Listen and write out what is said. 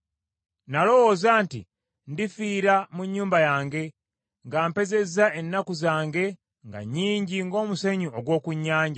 “Nalowooza nti, ‘Ndifiira mu nnyumba yange nga mpezezza ennaku zange nga nnyingi ng’omusenyu ogw’oku nnyanja.